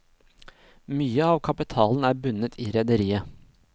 Mye av kapitalen er bundet i rederiet.